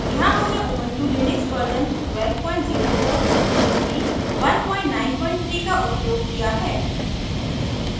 यहाँ हमने Ubuntu Linux version 1204 ruby 193 का उपयोग किया हैं